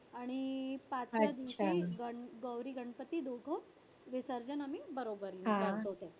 आणि पाचव्या दिवशी गौरी- गणपती दोघं विसर्जन आम्ही बरोबरीनं करतो त्याचं.